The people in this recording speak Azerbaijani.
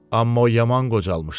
Amma o yaman qocalmışdı.